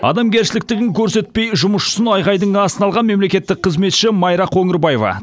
адамгершіліктігін көрсетпей жұмысшысын айғайдың астына алған мемлекеттік қызметші майра қоңырбаева